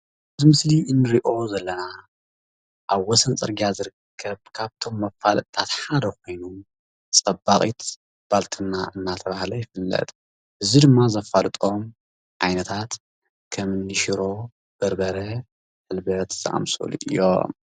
እዚ አብ ምስሊ እንሪኦም ዘለና አብ ወሰን ፅርግያ ዝርከብ ካብቶም መፈለጢታት ሓደ ኮይኑ ፀባቂት ባልትና እናተባህለ ይፍለጥ እዚ ድማ ዘፋልጦም ዓይነታት ከም ሽሮ፣ በርበረ፣ ሕልበት ዝአመሰሉ እዮም፡፡